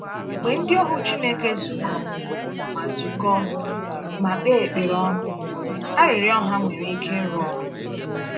Mgbe ndị ohu Chineke zukọọ ma zukọọ ma kpee ekpere ọnụ, arịrịọ ha nwere ike ịrụ ọrụ.